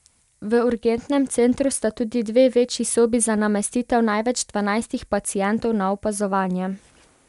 V urgentnem centru sta tudi dve večji sobi za namestitev največ dvanajstih pacientov na opazovanje.